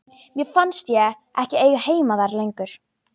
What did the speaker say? Mér fannst ég ekki eiga heima þar lengur.